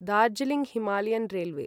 Darjeeling Himalayan railway